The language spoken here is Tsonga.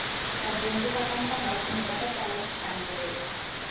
vadyondzi va ka ntangha khume va ta tsala xikambelo